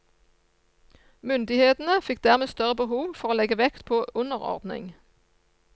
Myndighetene fikk dermed større behov for å legge vekt på underordning.